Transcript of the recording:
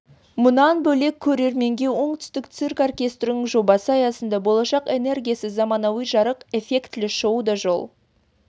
мұнан бөлек көрерменге оңтүстік цирк ртістерінің жобасы аясында болашақ энергиясы заманауи жарық эффектілі шоуы да жол